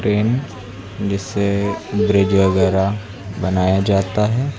Pen जिससे bridge वगैरा बनाया जाता है।